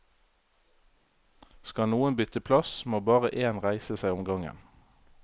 Skal noen bytte plass, må bare én reise seg om gangen.